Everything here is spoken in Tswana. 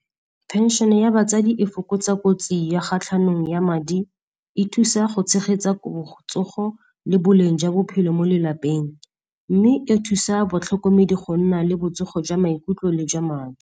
Phenšene ya batsadi e fokotsa kotsi ya kgatlhanong ya madi, e thusa go tshegetsa gore botsogo le boleng jwa bophelo mo lelapeng. Mme e thusa batlhokomedi go nna le botsogo jwa maikutlo le jwa madi.